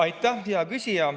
Aitäh, hea küsija!